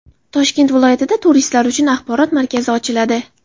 Toshkent viloyatida turistlar uchun axborot markazi ochiladi.